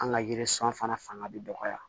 An ka yiri sɔn fana fanga bɛ dɔgɔya